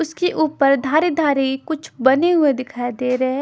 उसके ऊपर धारी-धारी कुछ बने हुए दिखाई दे रहे हैं ।